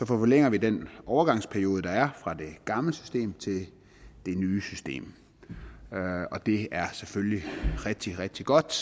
forlænger vi den overgangsperiode der er fra det gamle system til det nye system og det er selvfølgelig rigtig rigtig godt